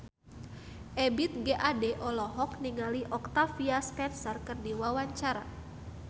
Ebith G. Ade olohok ningali Octavia Spencer keur diwawancara